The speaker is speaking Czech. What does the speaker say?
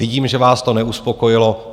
Vidím, že vás to neuspokojilo.